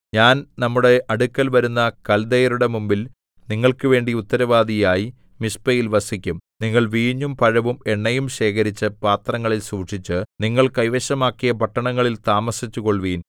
ഞാൻ നമ്മുടെ അടുക്കൽ വരുന്ന കല്ദയരുടെ മുമ്പിൽ നിങ്ങൾക്ക് വേണ്ടി ഉത്തരവാദിയായി മിസ്പയിൽ വസിക്കും നിങ്ങൾ വീഞ്ഞും പഴവും എണ്ണയും ശേഖരിച്ച് പാത്രങ്ങളിൽ സൂക്ഷിച്ച് നിങ്ങൾ കൈവശമാക്കിയ പട്ടണങ്ങളിൽ താമസിച്ചുകൊള്ളുവിൻ